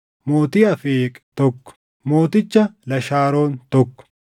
mootii Afeeq, tokko mooticha Lashaaroon, tokko